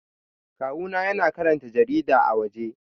Kawuna yana karanta jarida a waje